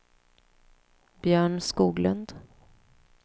Björn Skoglund